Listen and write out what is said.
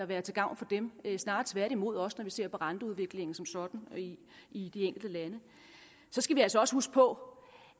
være til gavn for dem snarere tværtimod også når vi ser på renteudviklingen som sådan i de enkelte lande så skal vi altså også huske på